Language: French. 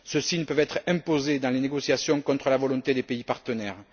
Ceux ci ne peuvent être imposés dans les négociations contre la volonté des pays partenaires.